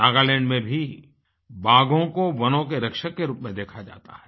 नागालैंड में भी बाघों को वनों के रक्षक के रूप में देखा जाता है